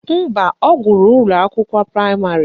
Mba, ọ gụrụ ụlọakwụkwọ praịmarị